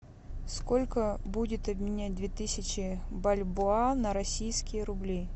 сколько будет обменять две тысячи бальбоа на российские рубли